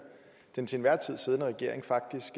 den til enhver tid siddende regering faktisk